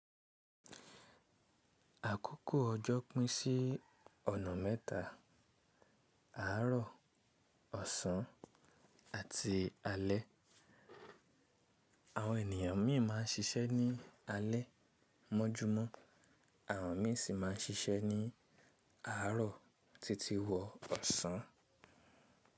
Àkókò ọjọ́ pín sí ọ̀nà mẹ́ta: àárọ̀, ọ̀sán àti alẹ́. Àwọn ènìyàn míì má a ń ṣiṣẹ́ ní alẹ́ mọ́júmọ́, àwọn mìí sì má a ń ṣiṣẹ́ ní àárọ̀ títí wọ ọ̀sán.